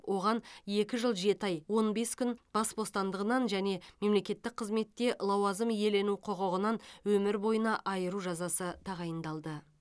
оған екі жыл жеті ай он бес күн бас бостандығынан және мемлекеттік қызметте лауазым иелену құқығынан өмір бойына айыру жазасы тағайындалды